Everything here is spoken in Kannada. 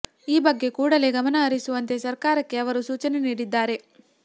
ಈ ಬಗ್ಗೆ ಕೂಡಲೇ ಗಮನ ಹರಿಸುವಂತೆ ಸರ್ಕಾರಕ್ಕೆ ಅವರು ಸೂಚನೆ ನೀಡಿದ್ದಾರೆ